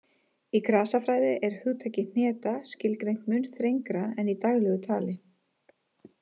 Í grasafræði er hugtakið hneta skilgreint mun þrengra en í daglegu tali.